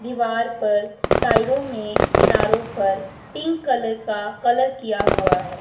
दीवार पर साइडों में किनारो पर पिंक कलर का कलर किया हुआ है।